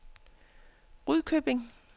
Rudkøbing